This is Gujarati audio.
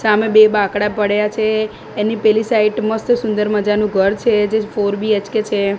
સામે બે બાકડા પડ્યા છે એની પેલી સાઇડ મસ્ત સુંદર મજાનુ ઘર છે જે ફોર બી_એચ_કે છે.